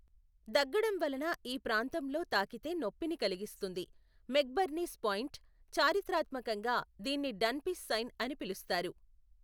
దగ్గడం వలన ఈ ప్రాంతంలో తాకితే నొప్పిని కలిగిస్తుంది, మెక్బర్నీస్ పాయింట్, చారిత్రాత్మకంగా దీన్ని డన్ఫీస్ సైన్ అని పిలుస్తారు.